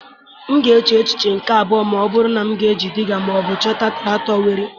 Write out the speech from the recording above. M ga-eche echiche nke abụọ ma ọ bụrụ na m ga-eji Dịgga ma ọ bụ chọta traktọ were.